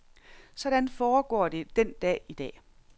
Sådan foregår det den dag i dag.